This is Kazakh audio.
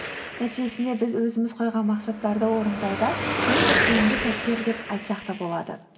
нәтижесінде біз өзіміз қойған мақсаттарды орындауда ең бір тиімді сәттер деп айтсақ та болады